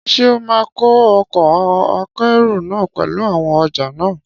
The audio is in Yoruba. Ṣé ó ma kó ọkọ̀ akẹ́rù náà pẹ̀lú àwọn ọjà náà?